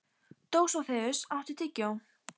Dósóþeus, áttu tyggjó?